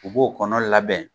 U b'o kɔnɔ labɛn